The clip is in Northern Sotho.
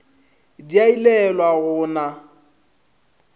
di a ilelwa go na